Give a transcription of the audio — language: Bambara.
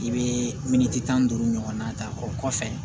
I bɛ miniti tan duuru ɲɔgɔnna ta o kɔfɛ